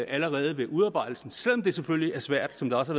allerede ved udarbejdelsen selv om det selvfølgelig er svært som det også